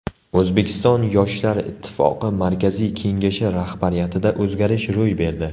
O‘zbekiston Yoshlar Ittifoqi Markaziy kengashi rahbariyatida o‘zgarish ro‘y berdi.